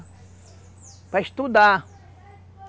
Para estudar.